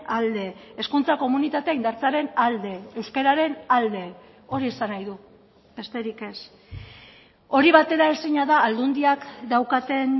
alde hezkuntza komunitatea indartzearen alde euskararen alde hori esan nahi du besterik ez hori bateraezina da aldundiak daukaten